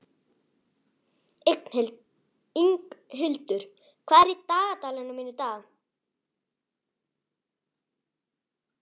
Inghildur, hvað er í dagatalinu mínu í dag?